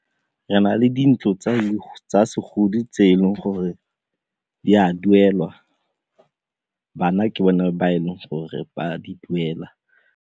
Re na le dintlo tsa segodi tse e leng gore di a duelwa, bana ke bone ba e leng gore ba di duela.